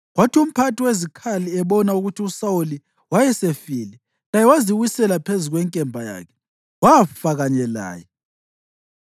Kwathi umphathi wezikhali ebona ukuthi uSawuli wayesefile, laye waziwisela phezu kwenkemba yakhe wafa kanye laye.